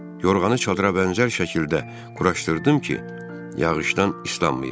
Yorğanı çadıra bənzər şəkildə quraşdırdım ki, yağışdan islanmayım.